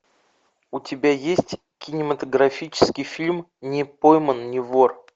у тебя есть кинематографический фильм не пойман не вор